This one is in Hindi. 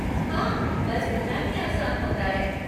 हाँ! बस इतना ही आसान होता है।